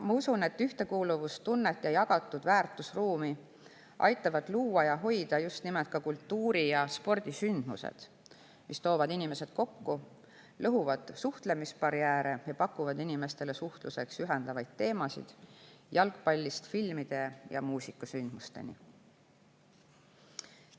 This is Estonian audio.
Ma usun, et ühtekuuluvustunnet ja jagatud väärtusruumi aitavad luua ja hoida just nimelt ka kultuuri‑ ja spordisündmused, mis toovad inimesed kokku, lõhuvad suhtlemisbarjääre ja pakuvad inimestele suhtluseks ühendavaid teemasid jalgpallist filmide ja muusikasündmusteni.